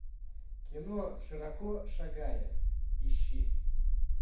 кино широко шагая ищи